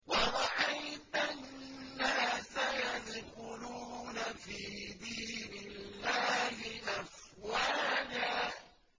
وَرَأَيْتَ النَّاسَ يَدْخُلُونَ فِي دِينِ اللَّهِ أَفْوَاجًا